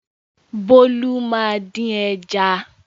Bólú máa dín ẹja.